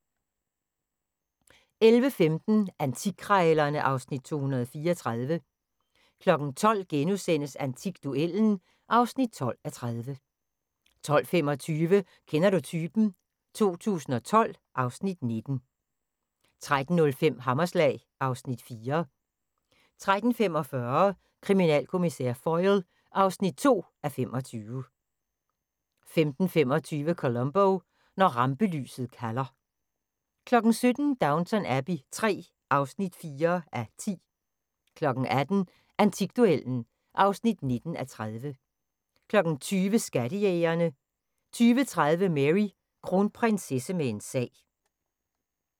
11:15: Antikkrejlerne (Afs. 234) 12:00: Antikduellen (12:30)* 12:25: Kender du typen? 2012 (Afs. 19) 13:05: Hammerslag (Afs. 4) 13:45: Kriminalkommissær Foyle (2:25) 15:25: Columbo: Når rampelyset kalder 17:00: Downton Abbey III (4:10) 18:00: Antikduellen (19:30) 20:00: Skattejægerne 20:30: Mary: Kronprinsesse med en sag